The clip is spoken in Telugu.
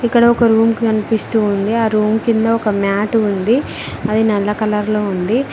ఇక్కడ ఒక రూమ్ కనిపిస్తూ ఉంది ఆ రూమ్ కింద ఒక మ్యాట్ ఉంది అది నల్ల కలర్ లో ఉంది.